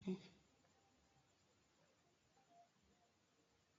Garawa wúlò fún iwe.